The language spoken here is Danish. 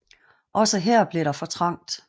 Også her blev der for trangt